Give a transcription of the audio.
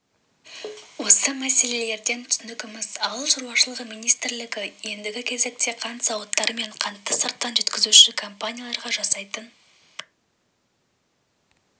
осы мәселелерден түсінгеніміз ауыл шаруашылығы министрлігі ендігі кезекте қант зауыттары мен қантты сырттан жеткізуші компанияларға жасайтын